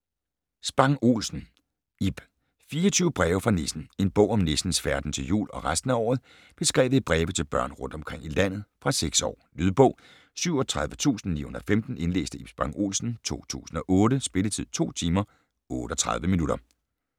Spang Olsen, Ib: 24 breve fra nissen En bog om nissens færden til jul og resten af året, beskrevet i breve til børn rundt omkring i landet. Fra 6 år. Lydbog 37915 Indlæst af Ib Spang Olsen, 2008. Spilletid: 2 timer, 38 minutter.